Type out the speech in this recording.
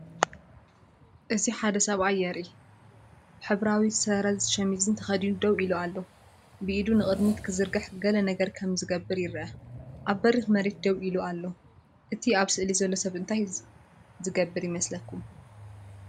እዚ ሓደ ሰብኣይ የርኢ። ሕብራዊ ስረን ሸሚዝ ተኸዲኑ ደው ኢሉ ኣሎ። ብኢዱ ንቕድሚት ክዝርግሕ ገለ ነገር ከም ዝገብር ይርአ። ኣብ በሪኽ መሬት ደው ኢሉ ኣሎ። እቲ ኣብ ስእሊ ዘሎ ሰብ እንታይ ዝገብር ይመስለኩም?